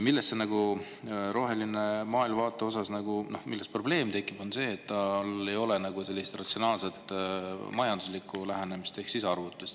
Selle rohelise maailmavaate puhul tekib see probleem, et sel ei ole nagu sellist ratsionaalset majanduslikku lähenemist ehk arvutust.